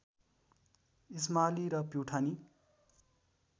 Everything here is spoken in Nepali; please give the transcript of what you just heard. इस्माली र प्युठानी